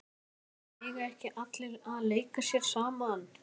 Helga: En eiga ekki allir að leika sér saman?